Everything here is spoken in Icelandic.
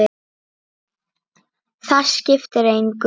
Það skiptir engu